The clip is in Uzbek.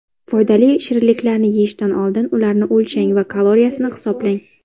Foydali shirinliklarni yeyishdan oldin, ularni o‘lchang va kaloriyasini hisoblang.